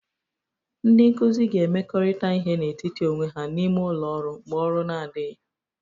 Ndị nkuzi ga-emekọrịta ihe n'etiti onwe ha n'ime ụlọ ọrụ mgbe ọrụ na-adịghị